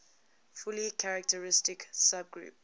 fully characteristic subgroup